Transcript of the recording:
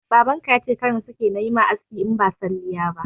Baban ka yace kar na sake nayi maka aski in ba salliya ba